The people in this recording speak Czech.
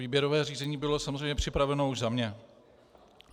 Výběrové řízení bylo samozřejmě připraveno už za mě.